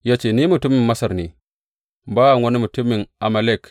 Ya ce, Ni mutumin Masar ne, bawan wani mutumin Amalek.